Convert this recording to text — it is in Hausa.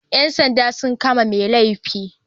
Yan sanda sun kama mai laifin